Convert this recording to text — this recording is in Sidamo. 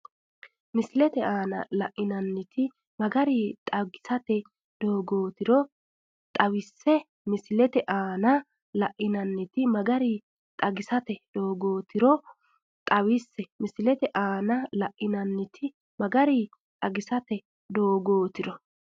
Misile aana la’inanniti magari xagisate dooggotiro xawisse Misile aana la’inanniti magari xagisate dooggotiro xawisse Misile aana la’inanniti magari xagisate dooggotiro.